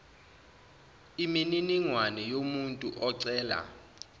imininingwane yomuntu ocela